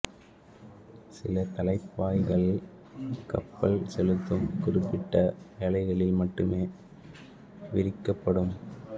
சில தலைப்பாய்கள் கப்பல் செலுத்தும் குறிப்பிட்ட வேளைகளில் மட்டுமே விரிக்கப்படும்